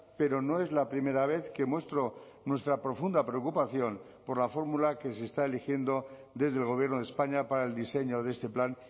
pero no es la primera vez que muestro nuestra profunda preocupación por la fórmula que se está eligiendo desde el gobierno de españa para el diseño de este plan